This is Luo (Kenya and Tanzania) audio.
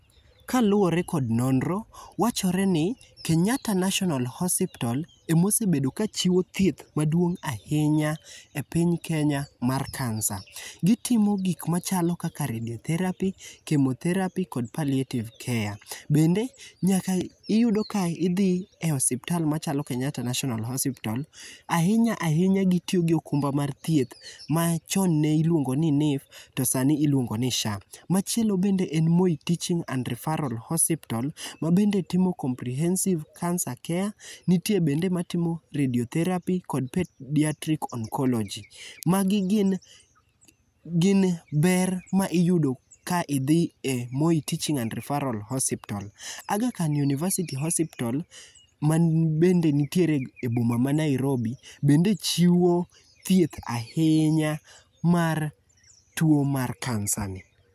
Kaluwore kod nonro, wachoreni Kenyatta National Hospital emosebedo ka chiwo thieth maduong' ahinya e piny Kenya mar kansa. Gitimo gik machalo kaka radiotherapy, kimotherapy kod paletive care. Bende nyaka iyud ka gidhi enosiptal machalo Kenyatta National Hospital, inyalo ahinya gi jok mar thieth ma chon ne iluongo ni NHIF to sani iluo ngo ni SHA. Machielo bende en Moi Teaching and Referral Hospital ma bende timo comprehensive cancer care, nitie bende timo comprehensive cancer care nitie kendo matimo radiotherapy, kodnpeadriatric oncology. Magi gin gin ber maiyudo ka idhi e Moi Teachng and Refarral Hospital, Aghakhan Univesity hospital ma bende nitiere e boma ma Nairobi bende chiwo thieth ahinya mar tuo mar kansani,